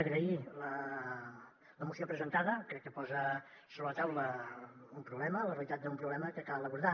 agrair la moció presentada crec que posa sobre la taula un problema la realitat d’un problema que cal abordar